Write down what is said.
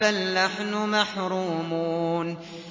بَلْ نَحْنُ مَحْرُومُونَ